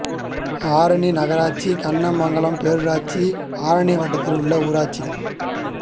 ஆரணி நகராட்சி கண்ணமங்கலம் பேரூராட்சி ஆரணி வட்டத்தில் உள்ள ஊராட்சிகள்